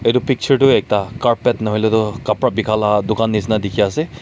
itu picture toh ekta carpet nahuile toh kapra bika la dukan nishina dikhi ase..